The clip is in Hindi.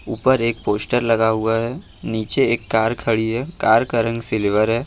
ऊपर एक पोस्टर लगा हुआ है नीचे एक कार खड़ी है कार का रंग सिल्वर है।